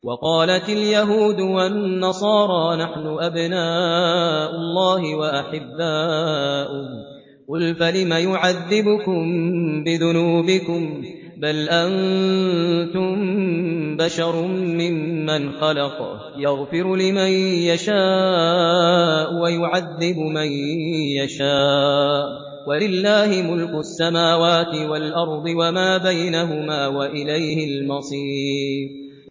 وَقَالَتِ الْيَهُودُ وَالنَّصَارَىٰ نَحْنُ أَبْنَاءُ اللَّهِ وَأَحِبَّاؤُهُ ۚ قُلْ فَلِمَ يُعَذِّبُكُم بِذُنُوبِكُم ۖ بَلْ أَنتُم بَشَرٌ مِّمَّنْ خَلَقَ ۚ يَغْفِرُ لِمَن يَشَاءُ وَيُعَذِّبُ مَن يَشَاءُ ۚ وَلِلَّهِ مُلْكُ السَّمَاوَاتِ وَالْأَرْضِ وَمَا بَيْنَهُمَا ۖ وَإِلَيْهِ الْمَصِيرُ